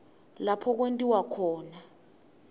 lapho kwentiwa khona